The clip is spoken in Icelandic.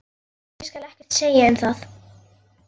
Ég skal ekkert segja um það.